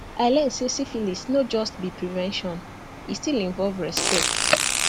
i learn say syphilis no just be prevention e still involve respect